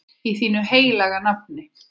Í þínu heilaga nafni.